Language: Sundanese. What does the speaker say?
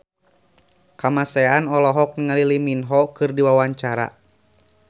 Kamasean olohok ningali Lee Min Ho keur diwawancara